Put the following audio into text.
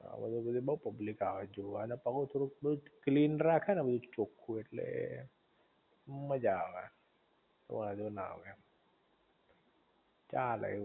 આ બાજુ બધી બૌવ પબ્લિક આવે જોવા ઍટલે પણ હું થોડુંક ક્લીન રાખે ને બધુ ચોખ્ખું ઍટલે મજા આવે વાંધો ના આવે એમ ચાલે